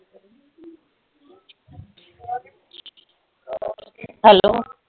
Hello